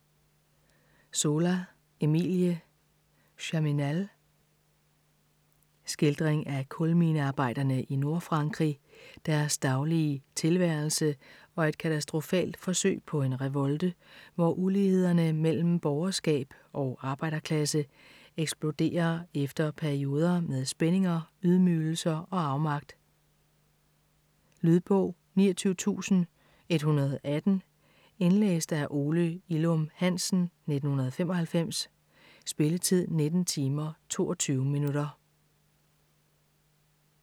Zola, Emile: Germinal Skildring af kulminearbejderne i Nordfrankrig, deres daglige tilværelse og et katastrofalt forsøg på en revolte, hvor ulighederne mellem borgerskab og arbejderklasse eksploderer efter perioder med spændinger, ydmygelser og afmagt. Lydbog 29118 Indlæst af Ole Ilum Hansen, 1995. Spilletid: 19 timer, 22 minutter.